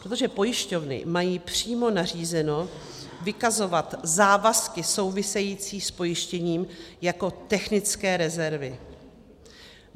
Protože pojišťovny mají přímo nařízeno vykazovat závazky související s pojištěním jako technické rezervy.